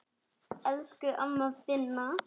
Elsku amma Binna.